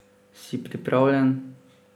Si pripravljen?